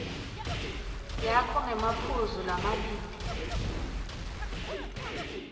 yakho ngemaphuzu lamabili